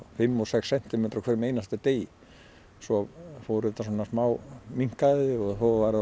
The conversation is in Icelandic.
fimm og sex sentimetra á hverjum einasta degi svo fór þetta svona smá minnkandi og var